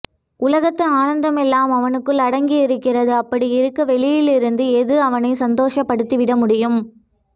உலகத்து ஆனந்தம் எல்லாம் அவனுக்குள் அடங்கி இருக்கிறது அப்படி இருக்க வெளியிலிருந்து எது அவனை சந்தோஷப் படுத்திவிட முடியும்